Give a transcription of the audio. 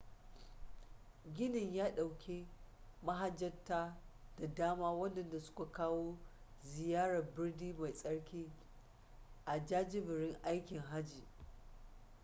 ginin ya dauke mahajjata da dama wadanda suka kawo ziyara birni mai tsarki a jajiberin aikin hajji